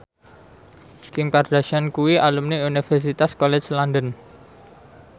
Kim Kardashian kuwi alumni Universitas College London